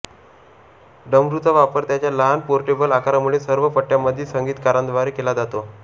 डमरूचा वापर त्याच्या लहान पोर्टेबल आकारामुळे सर्व पट्ट्यांमधील संगीतकारांद्वारे केला जातो